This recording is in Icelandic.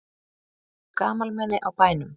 Eru gamalmenni á bænum?